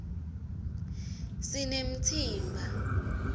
sinemtsimba